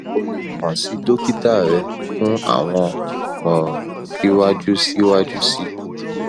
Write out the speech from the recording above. o le kan si dokita rẹ fun awọn imọran siwaju siwaju sii